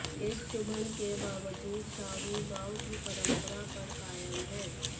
इस चुभन के बावजूद साहू गांव की परंपरा पर कायम हैं